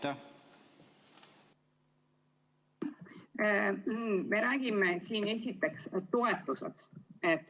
Esiteks, me räägime siin toetustest.